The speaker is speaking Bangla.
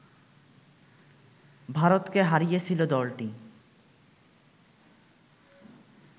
ভারতকে হারিয়েছিল দলটি